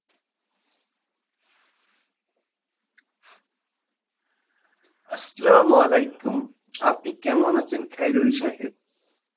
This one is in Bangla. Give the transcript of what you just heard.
Arbi আপনি কেমন আছেন খাইরুল সাহেব?